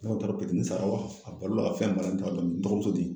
n dɔgɔmuso den